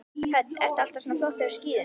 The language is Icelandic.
Hödd: Ertu alltaf svona flottur á skíðum?